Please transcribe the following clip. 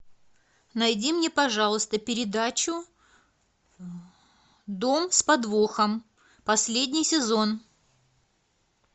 найди мне пожалуйста передачу дом с подвохом последний сезон